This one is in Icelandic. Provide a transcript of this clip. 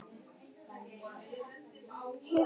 Reyndar ekki fyrr en eftir áramót.